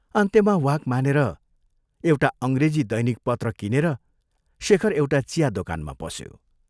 अन्त्यमा वाक मानेर एउटा अंग्रेजी दैनिक पत्र किनेर शेखर एउटा चिया दोकानमा पस्यो।